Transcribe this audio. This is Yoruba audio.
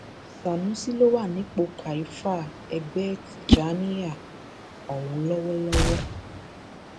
sanusi ló wà nípò kaifa ẹgbẹ tijjaniya ọhún lọwọlọwọ